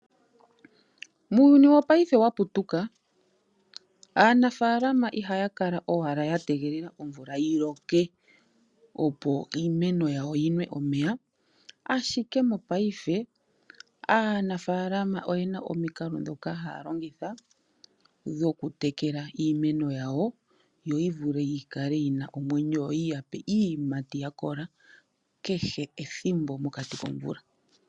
Muuyuni wopaife wa putuka aanafalama ihaya kala owala ya tegelele omvula yiloke, opo iimeno yawo yinwe omeya ashike mopaife oyena omikalo ndhoka longitha oku tekela iimeno yawo yi vule oku kala nomwenyo yi yape iiyimati kehe ethimbo mokati komvula.